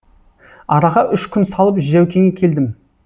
араға үш күн салып жәукеңе келдім